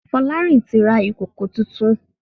Folarin tí ra Ìkòkò títún.